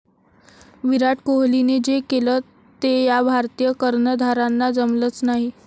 विराट कोहलीने जे केलं ते या भारतीय कर्णधारांना जमलंच नाही